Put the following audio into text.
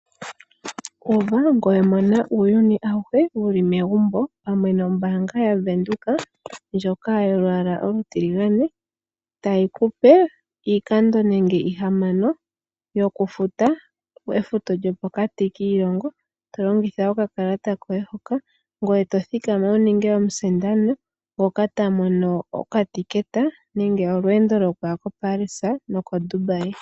Uva ngoye mona uuyuni awuhe wu li egumbo pamwe nombaanga yaWindhoek ndjoka yolwaala olutiligane tayi ku pe iikando nenge ihamano yokufuta, efuto lyopokati kiilongo to longitha okakalata koye hoka ngweye to thikama wu ninge omusindani ngoka ta mono okatekete nenge olweendo lokuya koParis nokoDubai.